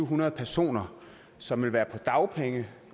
hundrede personer som vil være på dagpenge